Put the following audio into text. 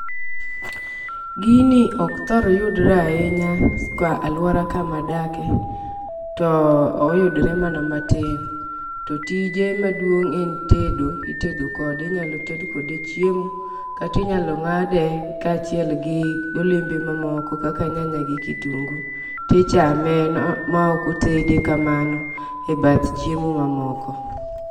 Gini ok thor yudre ahinya ka aluora kama adake to oyudre mana matin. To tije maduong' en tedo, itedo kode inyalo ted kode chiemo kati nyalo ng'ade kaachiel gi golembe mamoko kaka nyanya gi kitungu tichame ma ok otede kamano e bath chiemo mamoko.